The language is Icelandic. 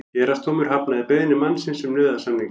Héraðsdómur hafnaði beiðni mannsins um nauðasamninga